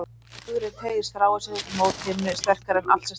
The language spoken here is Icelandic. Í góðviðri teygir stráið sig mót himni, sterkara en allt sem sterkt er.